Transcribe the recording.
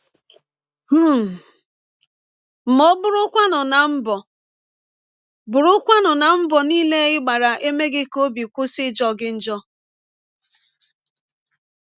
um Ma ọ́ bụrụkwanụ na mbọ bụrụkwanụ na mbọ niile ị gbara emeghị ka ọbi kwụsị ịjọ gị njọ?